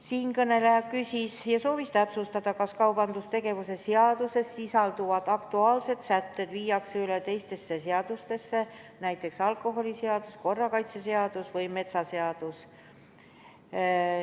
Siinkõneleja küsis ja palus täpsustada, kas kaubandustegevuse seaduses sisalduvad aktuaalsed sätted viiakse üle teistesse seadustesse – näiteks alkoholiseadusse, korrakaitseseadusse või metsaseadusse.